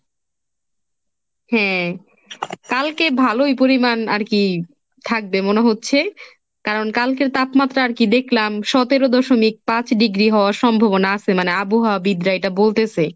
হ্যাঁ কালকে ভালোই পরিমাণ আর কি থাকবে মনে হচ্ছে কারণ কালকের তাপমাত্রা আর কি দেখলাম সতেরো দশমিক পাঁচ degree হওয়ার সম্ভাবনা আছে মানে আবহাওয়াবিদরা এটা বলতেছে।